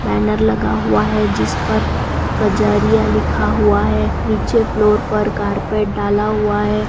Banner लगा हुआ है जिस पर कजारिया लिखा हुआ है नीचे फ्लोर पर कार्पेट डाला हुआ है।